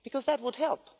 Because that would help.